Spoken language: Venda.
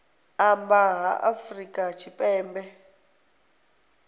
amba nga ha afrika tshipembe